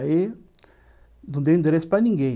Aí, não dei endereço para ninguém.